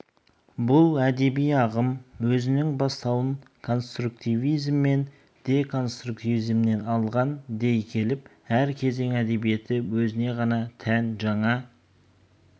бұл әдеби ағым өзінің бастауын конструктивизм мен деконструктивизмнен алған дей келіп әр кезең әдебиеті өзіне ғана тән жаңа